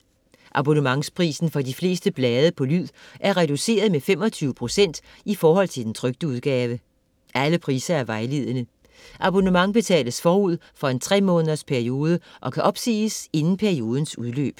Abonnementsprisen for de fleste blade på lyd er reduceret med 25 procent i forhold til den trykte udgave. Alle priser er vejledende. Abonnement betales forud for en tre-måneders periode og kan opsiges inden periodens udløb.